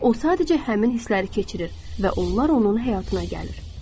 O sadəcə həmin hissləri keçirir və onlar onun həyatına gəlir.